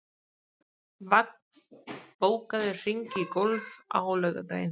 Vagn, bókaðu hring í golf á laugardaginn.